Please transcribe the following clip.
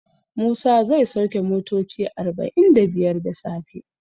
Musa zai sauke motoci arba'in da biyar da safe.